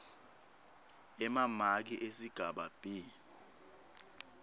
emamaki esigaba b